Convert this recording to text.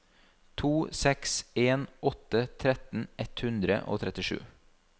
to seks en åtte tretten ett hundre og trettisju